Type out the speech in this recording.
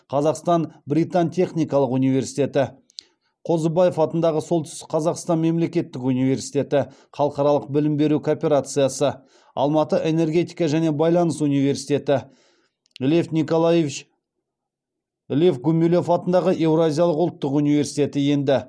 қазақстан британ техникалық университеті қозыбаев атындағы солтүстік қазақстан мемлекеттік университеті халықаралық білім беру корпорациясы алматы энергетика және байланыс университеті лев гумилев атындағы еуразиялық ұлттық университеті енді